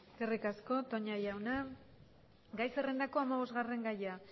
eskerrik asko toña jauna gai zerrendako hamabosgarren gaia